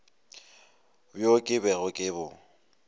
bjo ke bego ke bo